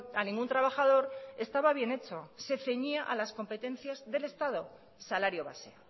a ningún trabajador estaba bien hecho se ceñía a las competencias del estado salario base